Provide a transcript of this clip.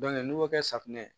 n'u y'o kɛ safunɛ